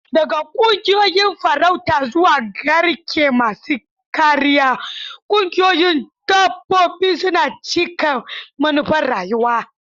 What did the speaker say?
Daga ƙungiyoyin farauta zuwa garke masu kariya, ƙungiyoyin dabbobi suna cika manufar rayuwa.